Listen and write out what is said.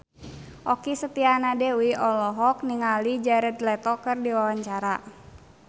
Okky Setiana Dewi olohok ningali Jared Leto keur diwawancara